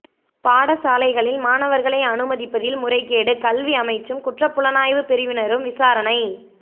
பாடசாலைகளில் மாணவர்களை அனுமதிப்பதில் முறைகேடு கல்வி அமைச்சும் குற்றப் புலனாய்வுப் பிரிவினரும் விசாரணை